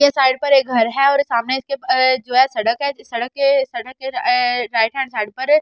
के साइड पर एक घर है और सामने इसके जो है सड़क है सड़क के सड़क के अ राइट हैंड साइड पर --